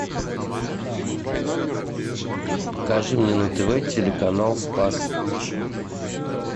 покажи мне на тв телеканал спас